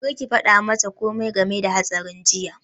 Kar ki faɗa mata komai game da hatsarin jiya!